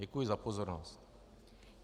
Děkuji za pozornost.